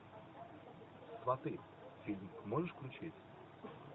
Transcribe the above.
сваты фильм можешь включить